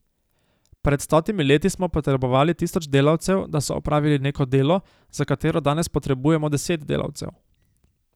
Pred stotimi leti smo potrebovali tisoč delavcev, da so opravili neko delo, za katero danes potrebujemo deset delavcev.